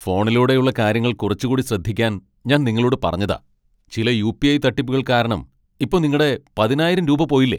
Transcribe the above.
ഫോണിലൂടെ ഉള്ള കാര്യങ്ങൾ കുറച്ചുകൂടി ശ്രദ്ധിക്കാൻ ഞാൻ നിങ്ങളോട് പറഞ്ഞതാ .ചില യു. പി. ഐ. തട്ടിപ്പുകൾ കാരണം ഇപ്പോ നിങ്ങടെ പതിനായിരം രൂപ പോയില്ലേ.